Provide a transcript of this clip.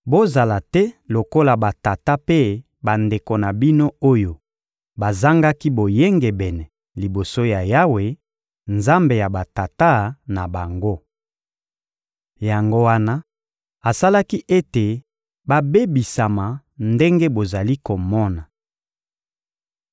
Bozala te lokola batata mpe bandeko na bino oyo bazangaki boyengebene liboso ya Yawe, Nzambe ya batata na bango. Yango wana asalaki ete babebisama ndenge bozali komona.